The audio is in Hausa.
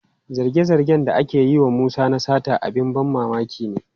Zarge-zargen da ake yi wa Musa na sata abin ban mamaki ne.